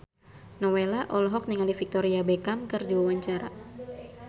Nowela olohok ningali Victoria Beckham keur diwawancara